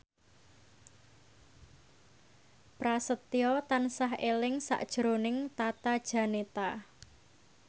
Prasetyo tansah eling sakjroning Tata Janeta